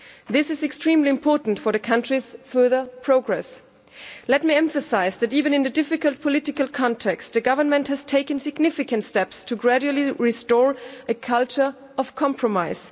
This is extremely important for the country's further progress. Let me emphasise that even in the difficult political context, the government has taken significant steps to gradually restore a culture of compromise.